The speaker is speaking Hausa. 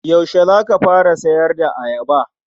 Yaushe za ka fara sayar da ayaba?